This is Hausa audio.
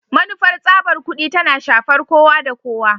Manufar tsabar kudi tana shafar kowa da kowa